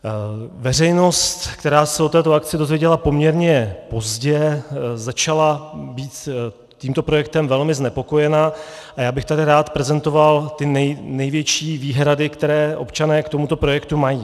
Veřejnost, která se o této akci dozvěděla poměrně pozdě, začala být tímto projektem velmi znepokojena a já bych tady rád prezentoval ty největší výhrady, které občané k tomuto projektu mají.